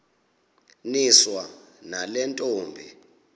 niswa nale ntombi